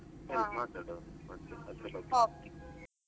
ಹಾ okay .